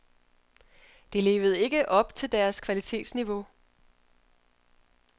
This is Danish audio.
Det levede ikke op til deres kvalitetsniveau.